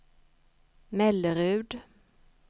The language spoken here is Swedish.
Mellerud